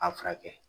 A furakɛ